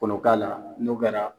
Ko n'o k'a la n'o kɛra